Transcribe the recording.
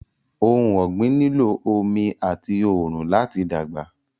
Ọhun ọ̀gbin nílọ̀ ọmì atì oòrun lati dágba.